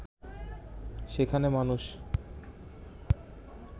সেখানে মানুষ